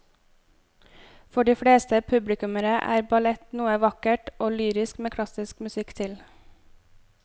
For de fleste publikummere er ballett noe vakkert og lyrisk med klassisk musikk til.